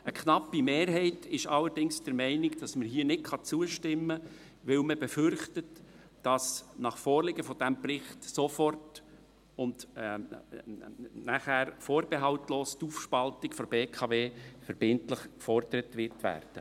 Eine knappe Mehrheit ist allerdings der Meinung, dass man hier nicht zustimmen kann, weil man befürchtet, dass nach Vorliegen des Berichts sofort und dann vorbehaltlos die Aufspaltung die BKW verbindlich gefordert werden wird.